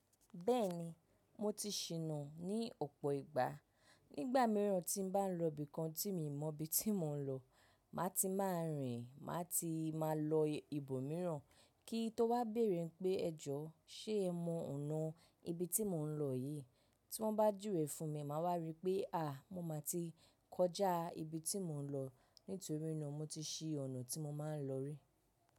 Bẹ́ẹ̀ni, mo ti ṣíná ní ọ̀pọ̀ ìgbà. Nígbà mìíràn tí n bá lọ ibìkan tí mi mọ ibi tí mò ń lọ, màá ti máa rìn, màá ti máa lọ ibòmíràn kí n tó wá béèrè pé ẹjọ́ ṣe ẹ mọ ọ̀nà ibi tí mò ń lọ yìí? Tí wón bá juwe fún mi, màá wá rí pé à mo máa ti kọjá ibi tí mò ń lọ nítorí náà mo ti ṣí ọ̀nà tí mo máa ń lọ rí.